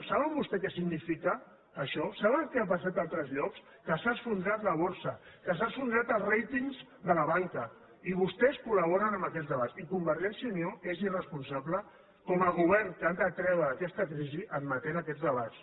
saben vostès què significa això saben què ha passat a altres llocs que s’ha esfondrat la borsa que s’han esfondrat els ratingsamb aquest debats i convergència i unió és irresponsable com a govern que han de treure aquesta crisi admetent aquests debats